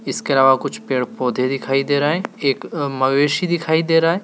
इसके अलावा कुछ पेड़ पौधे दिखाई दे रहे हैं एक अह मवेशी दिखाई दे रहा है।